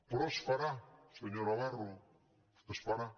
però es farà senyor navarro es farà